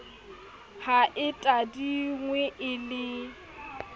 ha e tadingwe e le